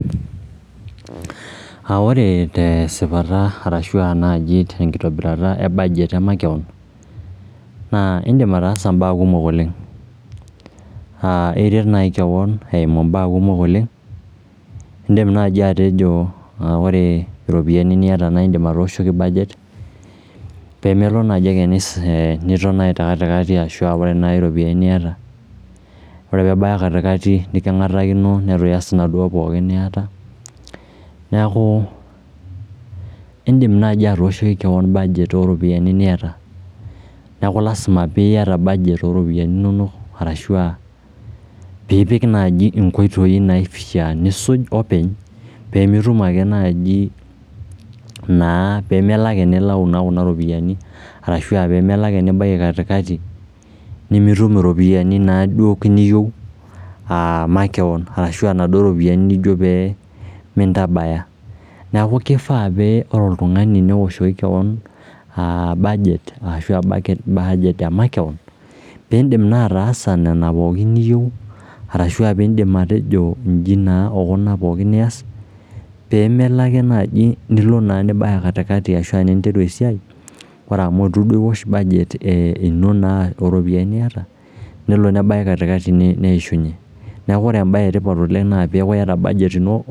Ore tesipata arashu naaji tenkitobirata e budget makeon, naa indim ataasa imbaak kumok oleng. Iret naai keon eimu imbaak kumok oleng, indim naai atejo ore iropiyiani niata naindim atooshoki budget peemelo naaji ake niton te kati kati ashu naa ore naai iropiyiani niata, ore pee ebaya kati kati neking'atakino netu ias inaduo pookin niata. Neeku indim naaji atooshoki keon budget oo ropiyiani niata. Neaku lazima piata budget oropiyiani inonok arashu aa piipik naaji inkoitoi naapaasha nisuj openy peemitum ake naaji naa pemelo ake nilau kuna ropiyiani arashu pemelo nibaiki kati kati nimitum iropiyiani naaduo niyieu aa makeon arashu naduo ropiyiani nijo pee mintabaya. Neeku kifaa pee ore oltung'ani neoshoki keon budget ashu budget e makeon piindim naa ataasa nena pookin niyieu arashu piindim atejo inji naa o kuna pookin ias peemelo ake naaji nilo naa nibaya kati kati ashu te saa ninteru e siai, kore amu etu duo iwosh budget e ino naa ooropiyiani niata nelo nebaya kati kati neishunye. Neeku ore embae etipat oleng naa peeku iata budget ino